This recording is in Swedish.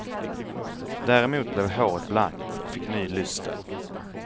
Däremot blev håret blankt och fick ny lyster.